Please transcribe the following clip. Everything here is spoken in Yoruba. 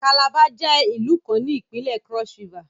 Calabar jẹ ilu kan ni Ipinle Cross-River